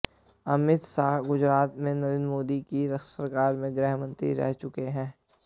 अमित शाह गुजरात में नरेंद्र मोदी की सरकार में गृह मंत्री रह चुके हैं